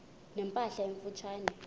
ne mpahla emfutshane